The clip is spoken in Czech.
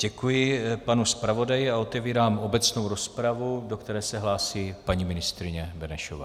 Děkuji panu zpravodaji a otevírám obecnou rozpravu, do které se hlásí paní ministryně Benešová.